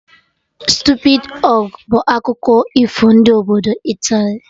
Stupidi ogre' bụ akụkọ ifo ndị obodo Italy